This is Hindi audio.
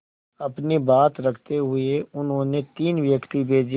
अपनी बात रखते हुए उन्होंने तीन व्यक्ति भेजे